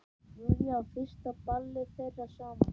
Júlíu á fyrsta ballið þeirra saman.